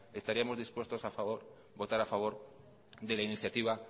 estaríamos dispuestos a votar a favor de la iniciativa